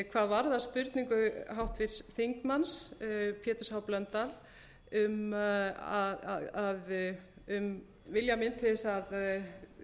hvað varðar spurningu háttvirts þingmanns péturs h blöndal um vilja minn til að